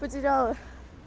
потеряла